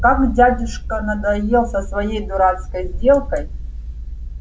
как дядюшка надоел со своей дурацкой сделкой